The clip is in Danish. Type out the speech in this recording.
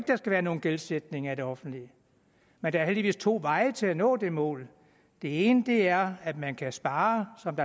der skal være nogen gældsætning af det offentlige men der er heldigvis to veje til at nå det mål den ene er at man kan spare som